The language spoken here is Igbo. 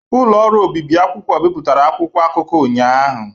Ụlọ ọrụ obibi akwụkwọ bipụtara akwụkwọ akụkọ ụnyahụ.